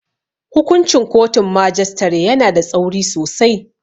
Hukuncin kotun majistare yana da tsauri sosai.